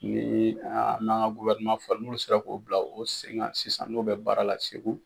Ni an ka fa n'u sera k'o bila u sen kan sisan n'o bɛ baara la segu